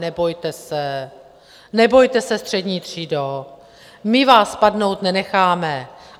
Nebojte se, nebojte se, střední třído, my vás padnout nenecháme.